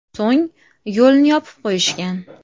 So‘ng yo‘lni yopib qo‘yishgan.